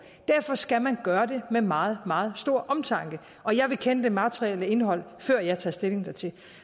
derfor skal man gøre det med meget meget stor omtanke og jeg vil kende det materielle indhold før jeg tager stilling dertil